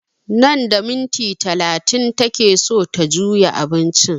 Nan da minti talatin take so ta juya abincin